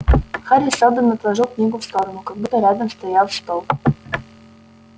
хари сэлдон отложил книгу в сторону как будто рядом стоял стол